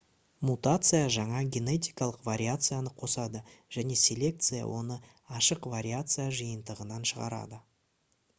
мутация жаңа генетикалық вариацияны қосады және селекция оны ашық вариация жиынтығынан шығарады